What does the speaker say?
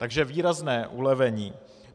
Takže výrazné ulevení.